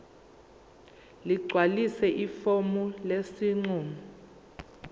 ligcwalise ifomu lesinqumo